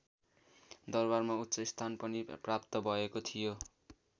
दरबारमा उच्च स्थान पनि प्राप्त भएको थियो।